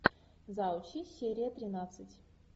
заучи серия тринадцать